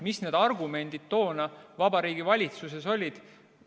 Mis need argumendid toona Vabariigi Valitsuses olid?